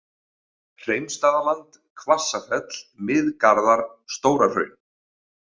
Hreimsstaðaland, Hvassafell, Mið-Garðar, Stóra-Hraun